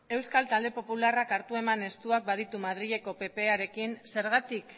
euskal talde popularrak hartu eman estuak baditu madrileko pprekin zergatik